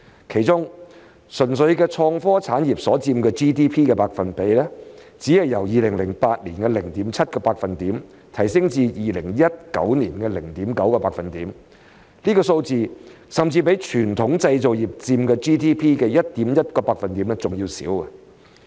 其中，純粹的創科產業所佔 GDP 的百分比，只是由2008年的 0.7% 提升至2019年的 0.9%， 這數字甚至比傳統製造業佔 GDP 的 1.1% 還要少。